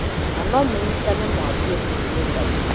Na no mũnyitane mwambie kũrũrũngana